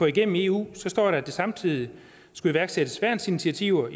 igennem eu står der at der samtidig skulle iværksættes værnsintiativer